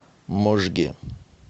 можге